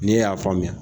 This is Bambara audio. N'e y'a faamuya